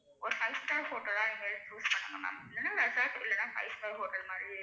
ஒரு five star hotel லா எங்கயாச்சும் choose பண்ணுங்க ma'am இல்லேனா resort இல்லேன்னா five star hotel மாறி,